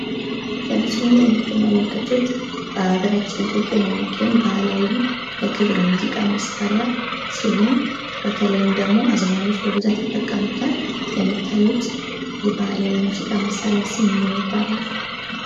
በምስሉ ላይ የምትመለከቱት በሃገራችን ኢትዮጵያ የሚገኝ ባህላዊ የክር የሙዚቃ መሳሪያ ሲሆን፤ በተለይም አዝማሪዎች በብዛት ይጠቀሙታል። የምታዩት የባህላዊ ሙዚቃ መሳሪያ ስም ምን ይባላል?